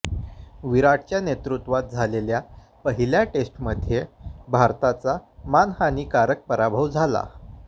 विराटच्या नेतृत्वात झालेल्या पहिल्या टेस्टमध्ये भारताचा मानहानीकारक पराभव झाला